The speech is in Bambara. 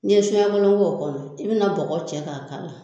N'i ye so ɲɛkelen k'o kɔnɔ i bɛ na bɔgɔ cɛ k'a k'a la